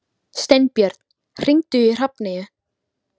Steinbjörn, hringdu í Hrafneyju.